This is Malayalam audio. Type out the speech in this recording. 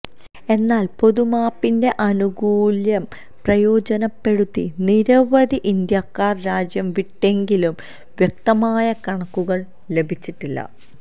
എന്നാല് പൊതുമാപ്പിന്റെ ആനുകൂല്യം പ്രയോജനപ്പെടുത്തി നിരവധി ഇന്ത്യക്കാര് രാജ്യം വിട്ടെങ്കിലും വ്യക്തമായ കണക്കുകള് ലഭിച്ചിട്ടില്ല